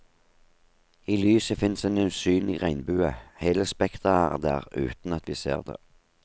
I lyset finnes en usynlig regnbue, hele spekteret er der uten at vi ser det.